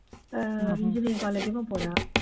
அஹ் engineering college க்கும் போறா